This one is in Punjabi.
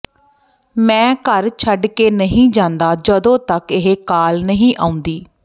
ਮੈਂ ਘਰ ਛੱਡ ਕੇ ਨਹੀਂ ਜਾਂਦਾ ਜਦੋਂ ਤੱਕ ਇਹ ਕਾਲ ਨਹੀਂ ਆਉਂਦੀ